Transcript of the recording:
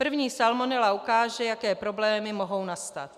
První salmonela ukáže, jaké problémy mohou nastat.